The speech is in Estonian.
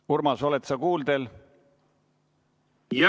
Urmas, oled sa kuuldel?